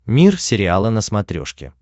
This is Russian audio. мир сериала на смотрешке